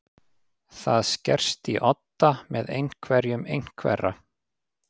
Það skerst í odda með einhverjum einhverra